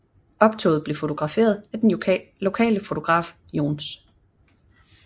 Optoget blev fotograferet af den lokale fotograf Johs